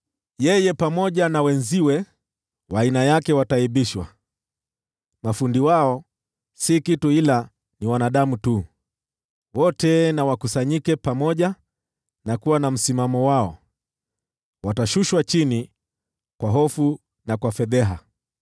Yeye pamoja na wenziwe wa aina yake wataaibishwa, mafundi wao si kitu ila ni wanadamu tu. Wote wakusanyike pamoja na kuwa na msimamo wao, watashushwa chini kwa hofu na kwa fedheha.